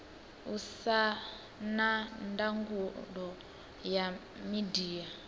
usa na ndangulo ya midia